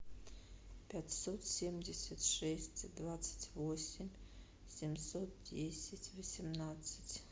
пятьсот семьдесят шесть двадцать восемь семьсот десять восемнадцать